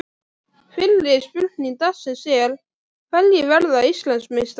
Fyrri spurning dagsins er: Hverjir verða Íslandsmeistarar?